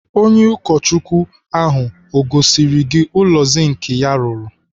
Onye ụkọchukwu ahụ o gosiri gị ụlọ zink ya o rụrụ?